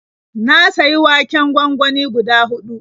Na sayi waken gwangwani guda huɗu.